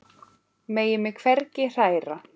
Megi mig hvergi hræra.